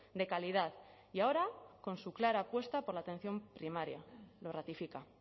de calidad y ahora con su clara apuesta por la atención primaria lo ratifica